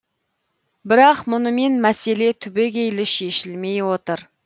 бірақ мұнымен мәселе түбегейлі шешілмей отыр